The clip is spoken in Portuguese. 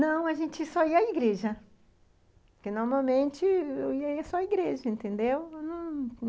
Não, a gente só ia à igreja, porque, normalmente, eu ia só à igreja, entendeu?